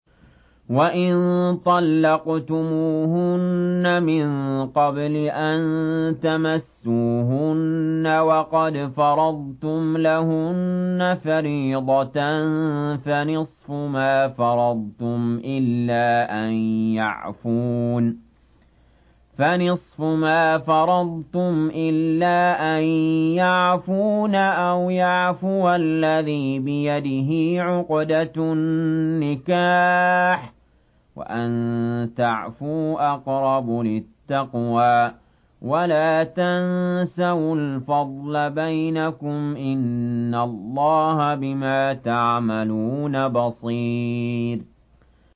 وَإِن طَلَّقْتُمُوهُنَّ مِن قَبْلِ أَن تَمَسُّوهُنَّ وَقَدْ فَرَضْتُمْ لَهُنَّ فَرِيضَةً فَنِصْفُ مَا فَرَضْتُمْ إِلَّا أَن يَعْفُونَ أَوْ يَعْفُوَ الَّذِي بِيَدِهِ عُقْدَةُ النِّكَاحِ ۚ وَأَن تَعْفُوا أَقْرَبُ لِلتَّقْوَىٰ ۚ وَلَا تَنسَوُا الْفَضْلَ بَيْنَكُمْ ۚ إِنَّ اللَّهَ بِمَا تَعْمَلُونَ بَصِيرٌ